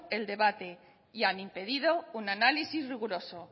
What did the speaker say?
el debate y han impedido un análisis riguroso